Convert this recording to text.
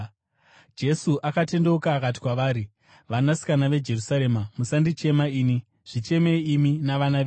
Jesu akatendeuka akati kwavari, “Vanasikana veJerusarema, musandichema ini; zvichemei imi navana venyu.